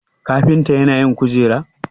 kafinta yana yin kujeru?